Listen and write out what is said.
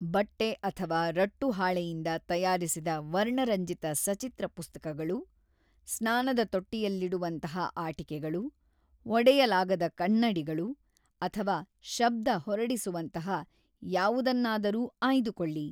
ಬಟ್ಟೆ ಅಥವಾ ರಟ್ಟುಹಾಳೆಯಿಂದ ತಯಾರಿಸಿದ ವರ್ಣರಂಜಿತ ಸಚಿತ್ರ ಪುಸ್ತಕಗಳು, ಸ್ನಾನದ ತೊಟ್ಟಿಯಲ್ಲಿಡುವಂತಹ ಆಟಿಕೆಗಳು, ಒಡೆಯಲಾಗದ ಕನ್ನಡಿಗಳು, ಅಥವಾ ಶಬ್ಧ ಹೊರಡಿಸುವಂತಹ ಯಾವುದನ್ನಾರೂ ಆಯ್ದುಕೊಳ್ಳಿ.